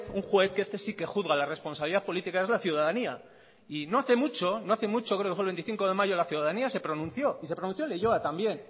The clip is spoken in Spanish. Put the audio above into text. un juez que este sí que juzga la responsabilidad política es la ciudadanía y no hace mucho no hace mucho creo que fue el veinticinco de mayo la ciudadanía se pronunció y se pronunció en leioa también